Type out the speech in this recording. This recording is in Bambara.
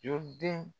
Joli den